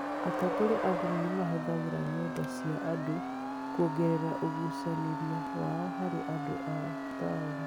Atongoria a ndini nĩ mahũthagĩra ng’enda cia andũ kuongerera ũgucanĩria wao harĩ andũ a taũni.